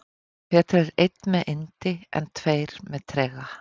Betri er einn með yndi en tveir með trega.